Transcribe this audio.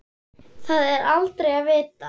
Það er aldrei að vita?